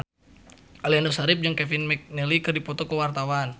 Aliando Syarif jeung Kevin McNally keur dipoto ku wartawan